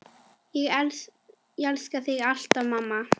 Elska þig ávallt mamma.